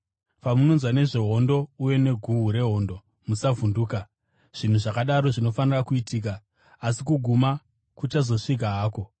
Pamunonzwa nezvehondo uye neguhu rehondo, musavhunduka. Zvinhu zvakadaro zvinofanira kuitika, asi kuguma kuchazosvika hako.